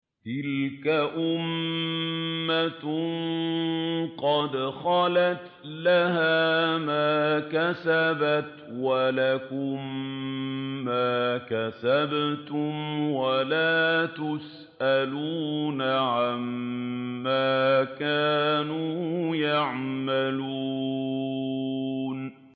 تِلْكَ أُمَّةٌ قَدْ خَلَتْ ۖ لَهَا مَا كَسَبَتْ وَلَكُم مَّا كَسَبْتُمْ ۖ وَلَا تُسْأَلُونَ عَمَّا كَانُوا يَعْمَلُونَ